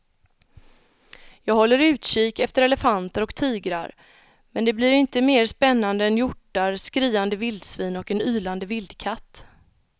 Jag håller utkik efter elefanter och tigrar men det blir inte mer spännande än hjortar, skriande vildsvin och en ylande vildkatt.